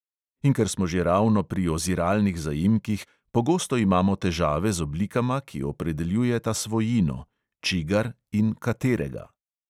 In ker smo že ravno pri oziralnih zaimkih – pogosto imamo težave z oblikama, ki opredeljujeta svojino: čigar in katerega.